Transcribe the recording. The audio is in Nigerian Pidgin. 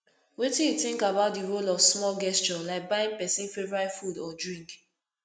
wetin you think about di role of small gestures like buying pesins favorite food or drink